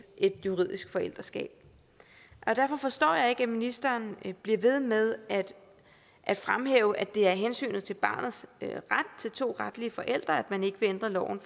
juridisk forældreskab derfor forstår jeg ikke at ministeren bliver ved med at fremhæve at det er af hensyn til barnets ret til to retslige forældre at man ikke vil ændre loven